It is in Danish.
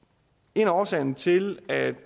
en af årsagerne til at